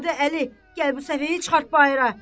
Adı Əli, gəl bu səfehi çıxart bayıra.